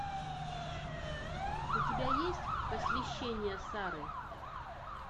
у тебя есть посвящение сары